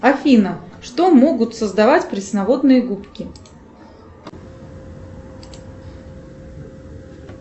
афина что могут создавать пресноводные губки